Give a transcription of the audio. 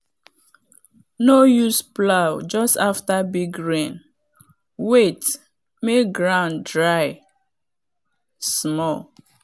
no use plow just after big rain wait make ground dry small.